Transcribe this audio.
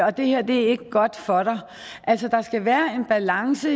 og det her er ikke godt for dig altså der skal være en balance